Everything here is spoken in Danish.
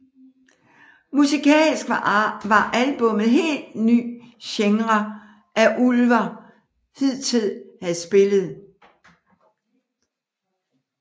Musikalsk var albummet en helt ny genre end Ulver hidtil havde spillet